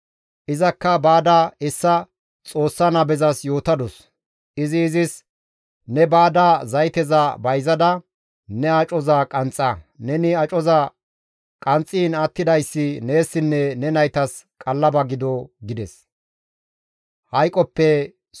Izakka baada hessa Xoossa nabezas yootadus; izi izis, «Ne baada zayteza bayzada ne acoza qanxxa; neni acoza qanxxiin attidayssi neessinne ne naytas qallaba gido» gides.